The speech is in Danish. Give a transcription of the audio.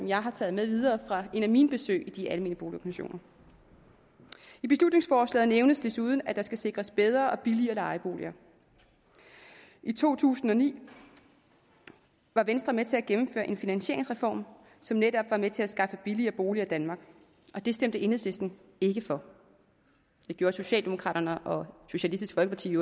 jeg har taget med videre fra et af mine besøg i de almene boligorganisationer i beslutningsforslaget nævnes desuden at der skal sikres bedre og billigere lejeboliger i to tusind og ni var venstre med til at gennemføre en finansieringsreform som netop var med til at skaffe billigere boliger i danmark og det stemte enhedslisten ikke for det gjorde socialdemokraterne og socialistisk folkeparti i